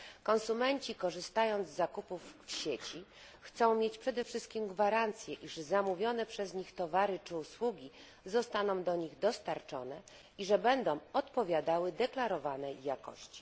Konsumenci, korzystając z zakupów w sieci, chcą mieć przede wszystkim gwarancję, iż zamówione przez nich towary czy usługi zostaną do nich dostarczone, i że będą odpowiadały deklarowanej jakości.